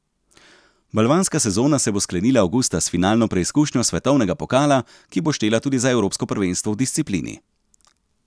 Balvanska sezona se bo sklenila avgusta s finalno preizkušnjo svetovnega pokala, ki bo štela tudi za evropsko prvenstvo v disciplini.